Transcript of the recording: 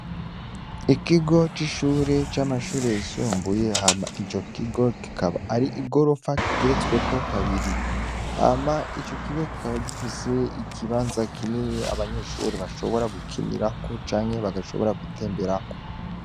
Ikigo c'ishuri c'amashuri yisumbuye hama ico kigo kikaba ari igorofa igeretsweko kabiri. Hama ico kigo kikaba gifise ikibanza kinini abanyeshure bashobora gukinirako canke bagashobora gutemberako.